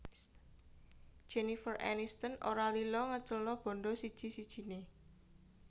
Jennifer Aniston ora lila ngeculno bandha siji sijine